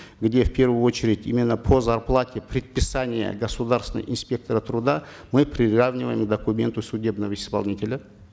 где в первую очередь именно по зарплате предписания государственного инспектора труда мы приравниваем к документу судебного исполнителя